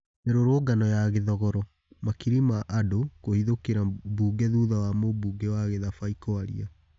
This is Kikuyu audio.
Mĩ rũrũngano ya Gĩ thogoro: makiri ma andũ kũhithũkĩ ra mbunge thũtha wa mũmbunge wa Gĩ thabai kwaria